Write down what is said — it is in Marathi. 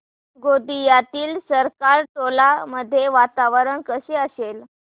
गोंदियातील सरकारटोला मध्ये वातावरण कसे असेल